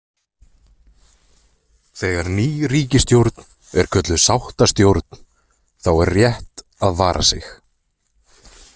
Þegar ný ríkisstjórn er kölluð „sáttastjórn“ , þá er rétt að vara sig.